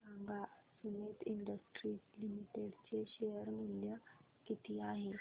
सांगा Sumeet industries limited चे share मूल्य किती आहे